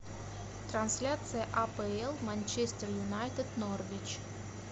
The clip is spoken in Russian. трансляция апл манчестер юнайтед норвич